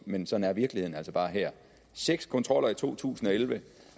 men sådan er virkeligheden altså bare her seks kontroller i to tusind og elleve